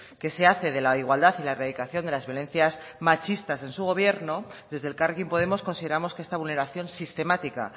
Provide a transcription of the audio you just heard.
que se hace de la igualdad y la erradicación de las violencias machistas en su gobierno desde elkarrekin podemos consideramos que esta vulneración sistemática